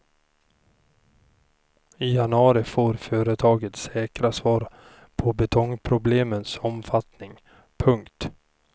I januari får företaget säkra svar på betongproblemens omfattning. punkt